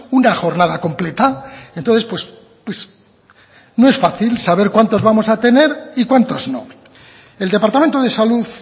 una jornada completa entonces no es fácil cuántos vamos a tener y cuántos no el departamento de salud